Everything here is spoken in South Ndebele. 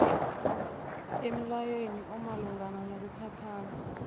emlayweni omalungana nokuthathana